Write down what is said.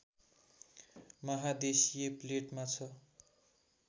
महादेशीय प्लेटमा छ